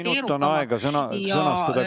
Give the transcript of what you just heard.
Minut on aega, et sõnastada küsimus.